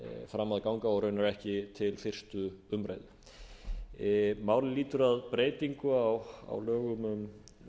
fram að ganga og raunar ekki til fyrstu umræðu málið lýtur að breytingu á lögum um